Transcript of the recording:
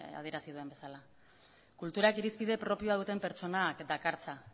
adierazi duen bezala kulturak irizpide propioa duten pertsonak dakartza